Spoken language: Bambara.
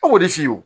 E b'o de f'i ye